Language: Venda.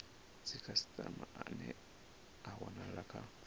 dzikhasitama ane a wanala kha